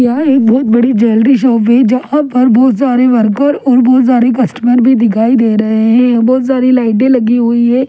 यहां एक बहुत बड़ी जलरी शॉप है जहां पर बहुत सारे वरकर और बहुत सारे कस्टमर भी दिखाई दे रहे हैं बहुत सारी लाइटें लगी हुई है।